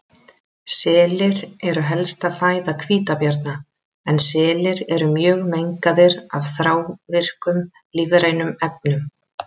Selir eru helsta fæða hvítabjarna en selir eru mjög mengaðir af þrávirkum lífrænum efnum.